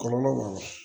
Kɔlɔlɔ b'a la